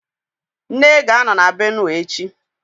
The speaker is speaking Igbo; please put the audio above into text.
Nne ga-anọ na Benue echi